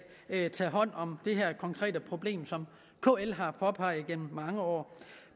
tager hånd om det her konkrete problem som kl har påpeget gennem mange år